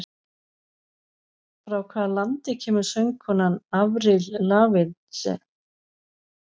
Frá hvaða landi er söngkonan Avril Lavigne?